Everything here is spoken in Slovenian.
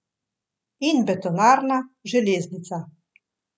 In betonarna, železnica.